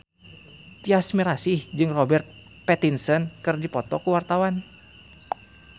Tyas Mirasih jeung Robert Pattinson keur dipoto ku wartawan